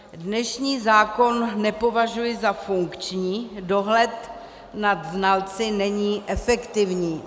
Dnešní zákon nepovažuji za funkční, dohled nad znalci není efektivní.